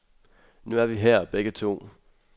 Nu er vi her begge to.